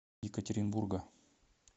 екатеринбурга